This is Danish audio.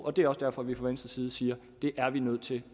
og det er også derfor vi fra venstres side siger det er vi nødt til